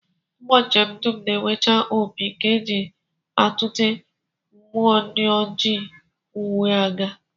Ụgbọ njem dum na-enwecha opi nke e ji atụte mmụọ ndị oji ụkwụ aga